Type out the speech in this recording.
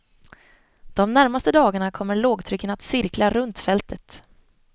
De närmaste dagarna kommer lågtrycken att cirkla runt fältet.